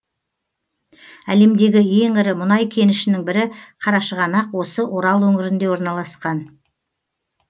әлемдегі ең ірі мұнай кенішінің бірі қарашығанақ осы орал өңірінде орналасқан